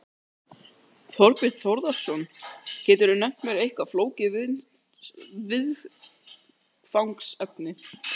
Þorbjörn Þórðarson: Geturðu nefnt mér eitt flókið viðfangsefni?